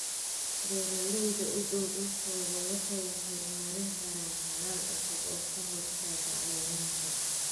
Beeralayda u dhow dhulkooda waxay horumarin karaan xalal cusub oo ka hortagga cayayaanka.